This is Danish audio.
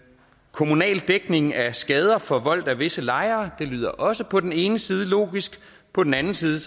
kommunal dækning af skader forvoldt af visse lejere lyder også på den ene side logisk og på den anden side